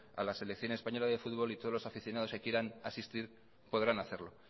a la selección española de fútbol y todos los aficionados que quieran asistir podrán hacerlo